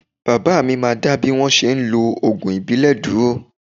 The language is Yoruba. Baba mi máa dá bí wọ́n ṣe ń lo ògùn ìbílẹ̀ dúró